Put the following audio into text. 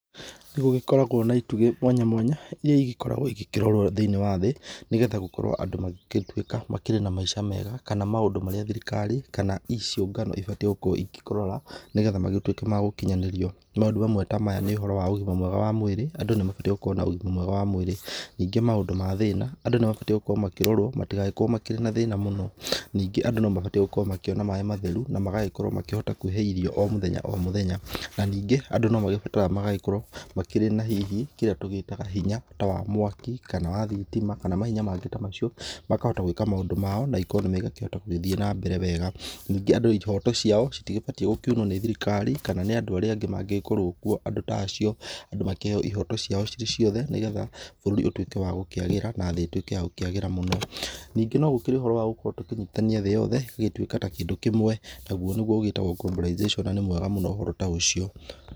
Nĩgũgĩkoragwo na itugĩ mwanya mwanya iria igĩkoragwo igĩkĩrorwo thĩ-inĩ wa thĩ nĩgetha gũkorwo andũ magĩgĩtuĩka makĩrĩ na maica mega, kana maũndũ marĩa thirikari kana ciũngano ibatiĩ gũkorwo ikĩrora, nĩgetha magĩtuĩke ma gũkinyanĩrio, maũndũ mamwe ta maya nĩ ũhoro wa ũgima mwega wa mwĩrĩ, andũ nĩmabatiĩ gũkorwo na ũgima mwega wa mwĩrĩ, ningĩ maũndũ ma thĩna andũ nĩmabataire gũkorwo makĩrorwo matigagĩkorwo makĩrĩ na thĩna mũno, ningĩ andũ nĩmabataire gũkorwo makĩona maĩ matheru, na magagĩkorwo makĩhota kwĩhe irio o mũthenya o mũthenya na ningĩ andũ nomagĩbataraga magagĩkorwo makĩrĩ na hihi kĩrĩa tũgĩtaga hinya ta wa mwaki kana wa thitima, kana mahinya mangĩ ta macio makahota gwĩka maũndũ mao na economy ĩgakĩhota gũgĩthiĩ nambere wega, ningĩ andũ ihoto ciao citigĩbatiĩ gũkiuno nĩ thirikari kana nĩ andũ arĩa angĩ mangĩkorwo kuo andũ ta acio, andũ makĩheo ihoto ciao cirĩciothe nĩgetha bũrũri ũtuĩke wa gũkĩagĩra na thĩ ĩtuĩke ya gũkĩagĩra mũno, nĩngĩ nogũkĩrĩ na ũhoro wa gũkorwo tũkĩnyitithania thĩ yothe ĩgĩtuĩka ta kĩndũ kĩmwe naguo nĩguo ũgĩtagwo globalization na nĩ mwega mũno ũhoro ta ũcio.